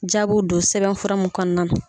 Jaabiw don sɛbɛn fura mun kɔnɔna na.